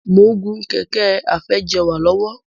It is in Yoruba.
Mo ń gùn Kẹ̀kẹ́ afẹjẹ̀wà lọ́wọ́.